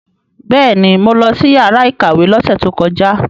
Bẹ́ẹ̀ni, mo lọ sí yàrá ìkàwé lọ́sẹ̀ tó kọjá.